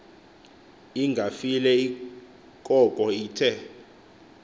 ingafile koko ithe